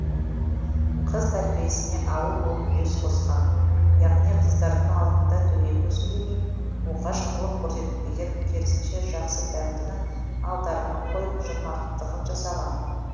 қыз тәрбиесіне ауыл болып үлес қосқан яғни қыздардың алдында дөрекі сөйлемей оғаш қылық көрсетпеген керісінше жақсы дәмдіні алдарына қойып жомарттығын жасаған